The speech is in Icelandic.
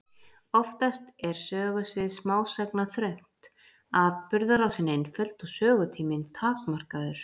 Oftast er sögusvið smásagna þröngt, atburðarásin einföld og sögutíminn takmarkaður.